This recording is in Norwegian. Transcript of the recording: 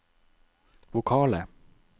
vokale